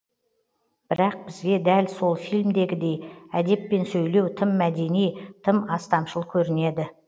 бірақ бізге дәл сол фильмдегідей әдеппен сөйлеу тым мәдени тым астамшыл көрінеді